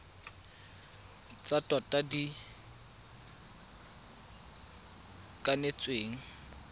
tsa tota tse di kanetsweng